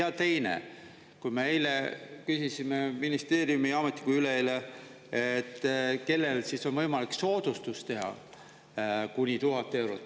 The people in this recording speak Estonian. Ja teine, kui me eile küsisime ministeeriumi ametnikult, või üleeile, et kellele on võimalik soodustust teha kuni 1000 eurot.